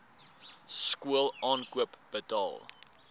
skool aankoop betaal